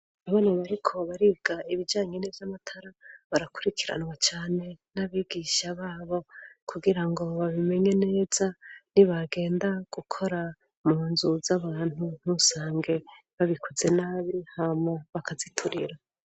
Abana bariko baribwa ibijanyene vy' amatara barakurikiranwa cane n'abigisha babo kugira ngo babimenye neza ni bagenda gukora mu nzu z'abantu ntusange babikuze nabi hamo bakaziturira.